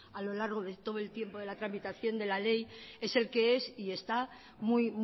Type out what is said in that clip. a lo largo de todo el tiempo de la tramitación de la ley es el que es y esta muy